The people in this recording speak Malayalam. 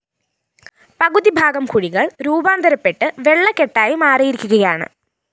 പകുതി ഭാഗം കുഴികള്‍ രൂപാന്തരപെട്ട് വെള്ളകെട്ടായി മാറിയിരിക്കുകയാണ്